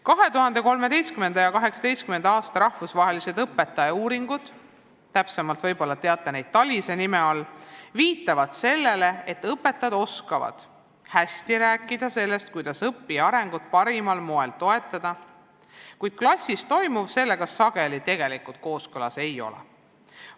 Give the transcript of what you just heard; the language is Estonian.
2013. ja 2018. aasta rahvusvahelised õpetajauuringud – võib-olla teate neid täpsemalt TALIS-e nime all – viitavad sellele, et õpetajad oskavad hästi rääkida sellest, kuidas õppija arengut parimal moel toetada, kuid klassis toimuv sellega sageli tegelikult kooskõlas ei ole.